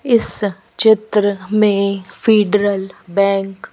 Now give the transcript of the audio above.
इस चित्र में फेडरल बैंक --